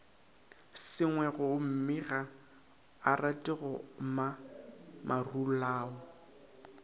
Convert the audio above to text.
sengwegommega arate go goma marulao